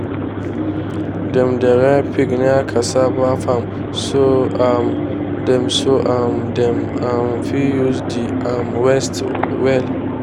dem dey rear pig near cassava farm so um dem so um dem um fit use the um waste well.